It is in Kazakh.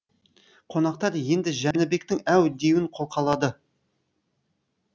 қонақтар енді жәнібектің әу деуін қолқалады